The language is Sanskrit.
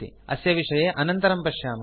अस्य विषये अनन्तरं पश्यामः